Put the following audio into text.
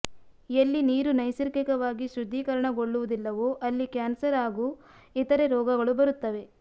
ಎಲ್ಲಿ ನೀರು ನೈಸರ್ಗಿಕವಾಗಿ ಶುದ್ಧೀಕರಣಗೊಳ್ಳುವುದಿಲ್ಲವೋ ಅಲ್ಲಿ ಕ್ಯಾನ್ಸರ್ ಹಾಗೂ ಇತರೆ ರೋಗಗಳು ಬರುತ್ತವೆ